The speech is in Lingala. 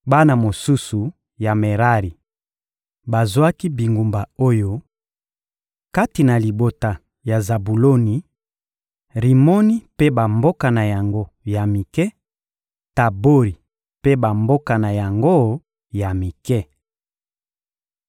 Bana mosusu ya Merari bazwaki bingumba oyo: kati na libota ya Zabuloni: Rimono mpe bamboka na yango ya mike, Tabori mpe bamboka na yango ya mike.